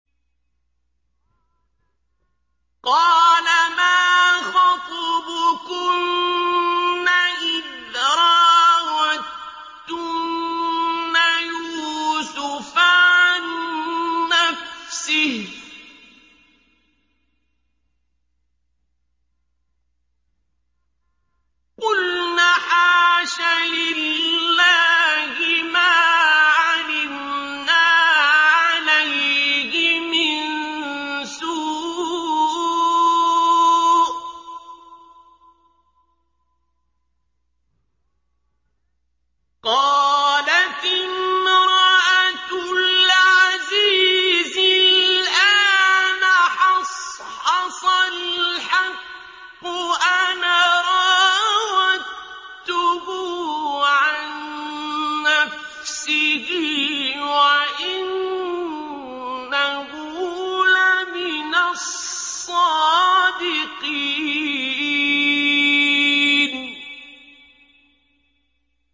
قَالَ مَا خَطْبُكُنَّ إِذْ رَاوَدتُّنَّ يُوسُفَ عَن نَّفْسِهِ ۚ قُلْنَ حَاشَ لِلَّهِ مَا عَلِمْنَا عَلَيْهِ مِن سُوءٍ ۚ قَالَتِ امْرَأَتُ الْعَزِيزِ الْآنَ حَصْحَصَ الْحَقُّ أَنَا رَاوَدتُّهُ عَن نَّفْسِهِ وَإِنَّهُ لَمِنَ الصَّادِقِينَ